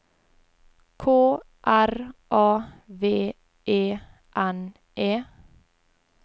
K R A V E N E